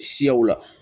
Siyaw la